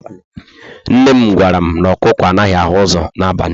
Nne m gwara m,na ọkụkọ anaghị ahụ ụzọ na abali